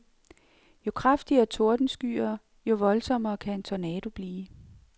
Jo kraftigere tordenskyer, jo voldsommere kan en tornado blive.